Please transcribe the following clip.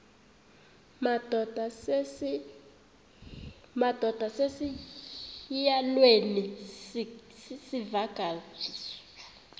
madod asesihialweni sivaqal